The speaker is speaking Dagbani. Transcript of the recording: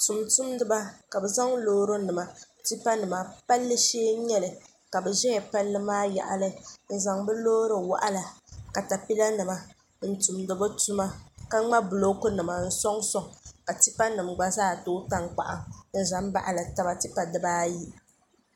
tumtumdiba ka bi zaŋ loori nima tipa nima palli shee n nyɛli ka bi ʒɛya palli maa yaɣali n zaŋ bi loori waɣala katapila nima n tumdi bi tuma ka ŋma buloku nima n soŋ soŋ ka tipa nim gba zaa tooi tankpaɣu n ʒɛ n baɣali taba tipa dibaayi